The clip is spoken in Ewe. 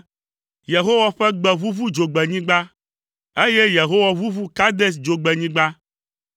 Yehowa ƒe gbe ʋuʋu dzogbenyigba, eye Yehowa ʋuʋu Kades Dzogbenyigba.